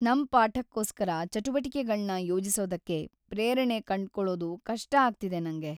ನಮ್ ಪಾಠಕ್ಕೋಸ್ಕರ ಚಟುವಟಿಕೆಗಳ್ನ ಯೋಜಿಸೋದಕ್ಕೆ ಪ್ರೇರಣೆ ಕಂಡ್ಕೊಳೋದು ಕಷ್ಟ ಆಗ್ತಿದೆ ನಂಗೆ.